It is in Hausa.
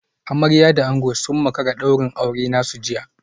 Amarya da ango sun makara daurin auren nasu jiya